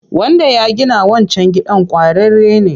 Wanda ya gina wancan gidan ƙwararre ne.